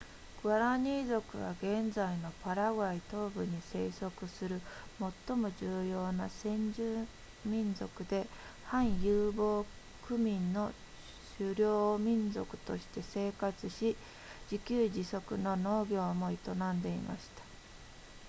グアラニー族は現在のパラグアイ東部に生息する最も重要な先住民族で半遊牧民の狩猟民族として生活し自給自足の農業も営んでいました